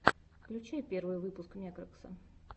включай первый выпуск мекракса